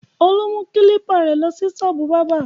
Olú mú kílípà rẹ̀ lọ sí ṣọ́ọ́bù bábà!